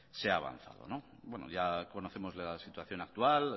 se ha avanzado ya conocemos la situación actual